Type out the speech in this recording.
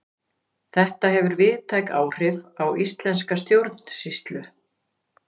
þetta hefur víðtæk áhrif á íslenska stjórnsýslu